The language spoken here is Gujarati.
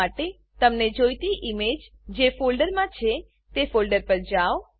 ફાઈલ પસંદ કરવા માટે તમને જોઈતી ઈમેજ જે ફોલ્ડરમાં છે તે ફોલ્ડર પર જાવ